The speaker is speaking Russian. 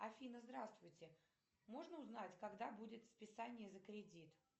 афина здравствуйте можно узнать когда будет списание за кредит